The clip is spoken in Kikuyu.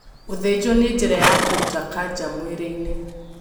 Gũthĩnjwo nĩ njĩra ya kũrũta kanja mwĩrĩ-inĩ